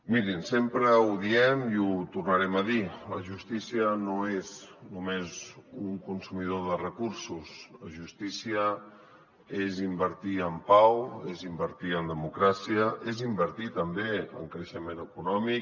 mirin sempre ho diem i ho tornarem a dir la justícia no és només un consumidor de recursos la justícia és invertir en pau és invertir en democràcia és invertir també en creixement econòmic